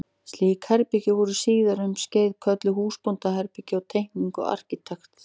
Slík herbergi voru síðar um skeið kölluð húsbóndaherbergi á teikningum arkitekta.